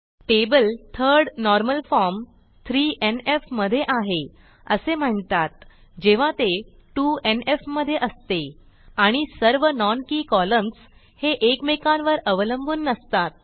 table third normal form मधे आहे असे म्हणतात जेव्हा ते 2एनएफ मधे असते आणि सर्व non के कॉलम्स हे एकमेकांवर अवलंबून नसतात